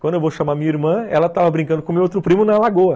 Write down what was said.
Quando eu vou chamar minha irmã, ela estava brincando com meu outro primo na lagoa.